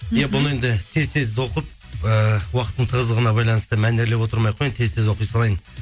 иә бұны енді тез тез оқып ііі уақыттың тыздығына байланысты мәнерлеп отырмай ақ қояйын тез тез оқ салайын